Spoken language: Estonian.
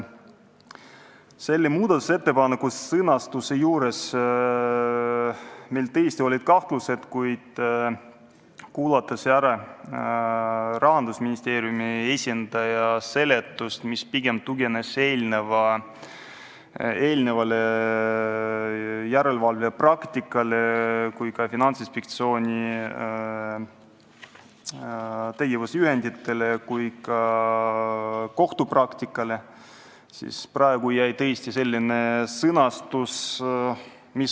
Selle muudatusettepaneku sõnastus äratas meiski kahtlusi, kuid kuulanud ära Rahandusministeeriumi esindaja seletuse, mis tugines järelevalve praktikal, Finantsinspektsiooni tegevusjuhenditel ja ka kohtupraktikal, jätsime sisse sellise sõnastuse.